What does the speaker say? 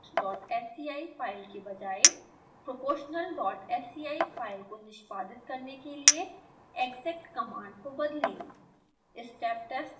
steptestsci file के बजाए proportionalsci file को निष्पादित करने के लिए exec कमांड को बदलें